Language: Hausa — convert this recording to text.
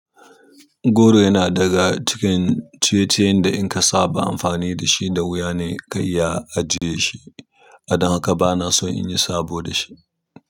Goro yana daga cikin ciye ciyen da in ka saba amfani da shi da wuya ne ka iya ajiye shi, adon haka bana son in yi sabo da shi.